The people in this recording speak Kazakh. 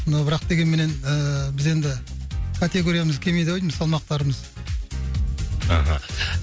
но бірақ дегенмен ыыы біз енді категориямыз келмейді ау деймін салмақтарымыз мхм